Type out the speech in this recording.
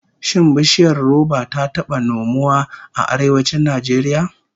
Shin bishiyar roba ta taba nomuwa a Arewacin Najeriya?